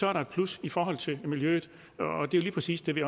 er der et plus for miljøet det er lige præcis det vi